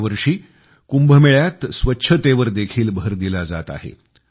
यावर्षी कुंभमेळ्यात स्वच्छतेवर देखील भर दिला जात आहे